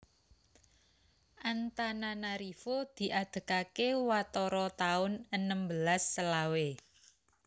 Antananarivo diadegaké watara taun enem belas selawe